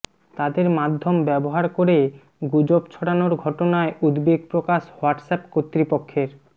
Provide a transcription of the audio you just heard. তাদের মাধ্যম ব্যবহার করে গুজব ছড়ানোর ঘটনায় উদ্বেগ প্রকাশ হোয়াটসঅ্যাপ কর্তৃপক্ষের